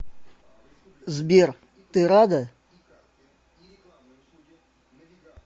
сбер ты рада